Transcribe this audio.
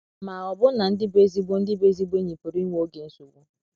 Ma, ọbụna ndi bụ ezigbo ndi bụ ezigbo enyi pụrụ inwe oge nsogbu.